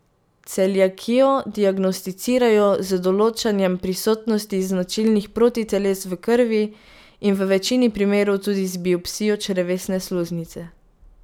Celiakijo diagnosticirajo z določanjem prisotnosti značilnih protiteles v krvi in v večini primerov tudi z biopsijo črevesne sluznice.